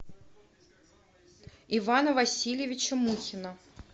ивана васильевича мухина